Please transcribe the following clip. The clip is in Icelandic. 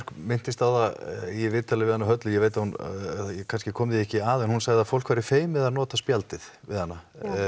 minntist á það í viðtali við hana Höllu ég kannski kom því ekki að en hún sagði að fólk væri feimið við að nota spjaldið við hana